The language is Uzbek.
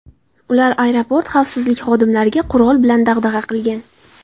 Ular aeroport xavfsizlik xodimlariga qurol bilan dag‘dag‘a qilgan.